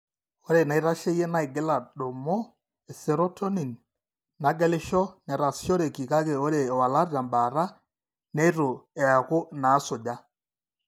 Ore inaitasheyie naigil aadumu eserotonin nagelisho netaasishoreki kake ore iwalat tembaata neitu eeku inaasuja.